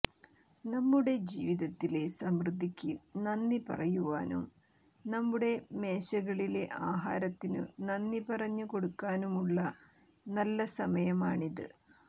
നമ്മുടെ ജീവിതത്തിലെ സമൃദ്ധിക്ക് നന്ദി പറയുവാനും നമ്മുടെ മേശകളിലെ ആഹാരത്തിനു നന്ദി പറഞ്ഞ് കൊടുക്കാനുമുള്ള നല്ല സമയമാണിത്